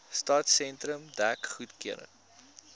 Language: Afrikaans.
stadsentrum dek goedgekeur